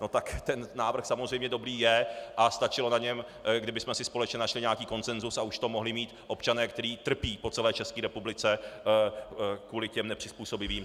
No tak ten návrh samozřejmě dobrý je a stačilo na něm, kdybychom si společně našli nějaký konsensus, a už to mohli mít občané, kteří trpí po celé České republice kvůli těm nepřizpůsobivým.